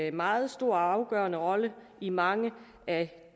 en meget stor og afgørende rolle i mange af